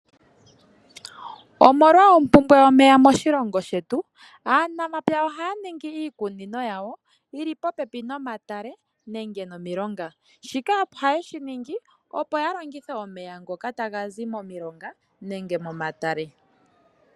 Omolwa oompumbwe yomeya moshilongo shetu, aanamapya ohaya ningi iikunino yili po pepi nomatale noshowo nomilonga shika ohaye shi ningi, opo ya longithe omeya ngoka taga zi momilonga nenge momatale.